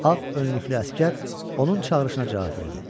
Ağ önlüklü əsgər onun çağırışına cavab verdi.